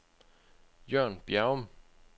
Jørn Bjerrum